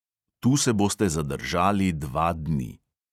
Tu se boste zadržali dva dni.